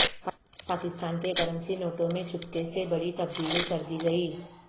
پاکستان کے کرنسی نوٹوں میں چپکے سے بڑی تبدیلی کر دی گئی